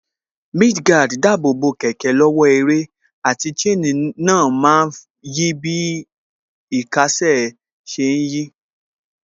Mudguard dáàbò bo kẹ̀kẹ́ lọ́wọ́ ẹrẹ̀, àti chain náà má ń yí bí īkásè sí ṣe ń yí